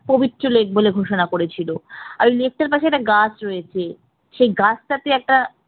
পবিত্র lake বলে ঘোষণা করেছে, আর ওই lake টার পাশে একটা গাছ রয়েছে সেই গাছটাকে একটা